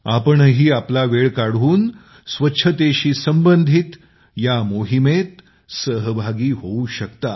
आपणही आपला वेळ काढून स्वच्छतेशी संबंधित या मोहिमेत सहभागी होऊ शकता